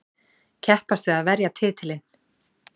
Keppast við að verja titilinn.